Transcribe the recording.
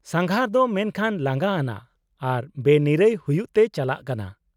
-ᱥᱟᱸᱜᱷᱟᱨ ᱫᱚ ᱢᱮᱱᱠᱷᱟᱱ ᱞᱟᱸᱜᱟ ᱟᱱᱟᱜ ᱟᱨ ᱵᱮᱱᱤᱨᱟᱹᱭ ᱦᱩᱭᱩᱜ ᱛᱮ ᱪᱟᱞᱟᱜ ᱠᱟᱱᱟ ᱾